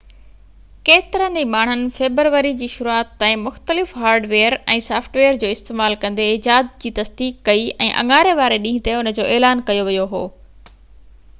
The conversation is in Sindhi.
ڪيترن ئي ماڻھن فيبروري جي شروعات تائين مختلف ھارڊويئر ۽ سافٽ ويئر جو استعمال ڪندي ايجاد جي تصديق ڪئي ۽ اڱاري واري ڏينهن تي ان جو اعلان ڪيو ويو هو